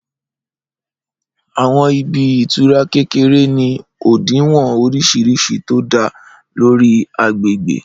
Àwọn ibi ìtura kékeré ni òdiwọ̀n oríṣiríṣi tó dá lórí agbègbè